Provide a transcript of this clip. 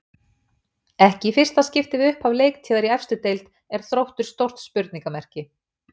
Ekki í fyrsta skipti við upphaf leiktíðar í efstu deild er Þróttur stórt spurningamerki.